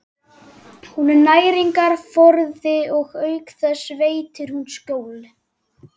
Hún er næringarforði og auk þess veitir hún skjól.